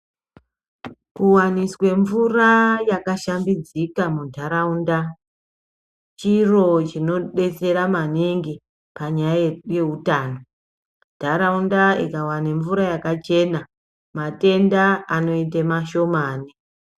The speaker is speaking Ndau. Kuwaniswe mvura yakashambidzika mundaraunda chiro chinodetsera maningi panyaya yeutano ndaraunda ikawana mvura yakachena matenda anoite mashoma.